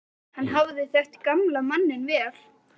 Hann hafði þekkt gamla manninn vel.